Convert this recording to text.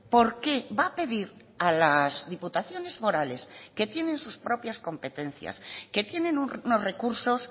por qué va a pedir a las diputaciones forales que tienen sus propias competencias que tienen unos recursos